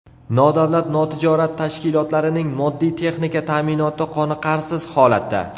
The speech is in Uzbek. Nodavlat notijorat tashkilotlarining moddiy-texnika ta’minoti qoniqarsiz holatda.